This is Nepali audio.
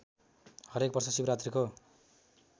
हरेक वर्ष शिवरात्रीको